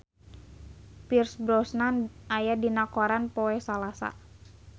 Pierce Brosnan aya dina koran poe Salasa